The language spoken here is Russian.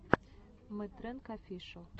мэтрэнг офишэл